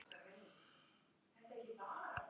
Undirlægjunum að kenna.